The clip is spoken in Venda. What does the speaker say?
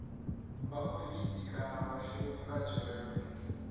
vhaofisi kana vhashumi vha dzhele